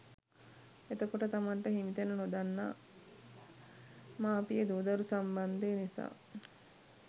එතකොට තමන්ට හිමිතැන නොදන්නා මාපිය දූ දරු සම්බන්ධය නිසා